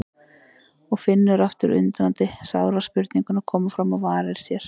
Og finnur aftur undrandi sára spurninguna koma fram á varir sér